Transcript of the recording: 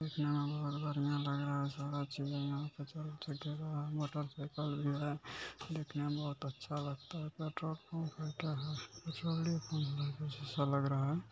चल ठीक है मोटरसाइकल भी है देखने में बोहोत अच्छा लगता हैं पेट्रोल पंप